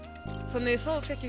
þannig